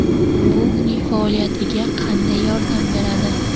Bu uning faoliyatiga qanday yordam beradi?